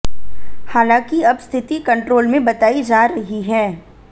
हालांकि अब स्थिति कंट्रोल में बताई जा रही है